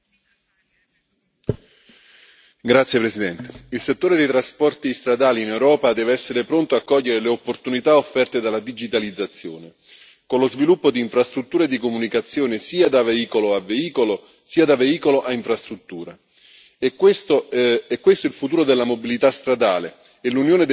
Signor Presidente, onorevoli colleghi, il settore dei trasporti stradali in Europa deve essere pronto a cogliere le opportunità offerte dalla digitalizzazione, con lo sviluppo di infrastrutture di comunicazione sia da veicolo a veicolo sia da veicolo a infrastrutture. È questo il futuro della mobilità stradale e l'Unione deve fornire un quadro normativo adeguato,